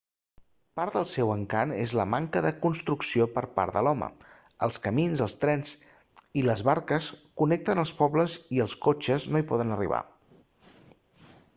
part del seu encant és la manca de la construcció per part de l'home els camins els trens i les barques connecten els pobles i els cotxes no hi poden arribar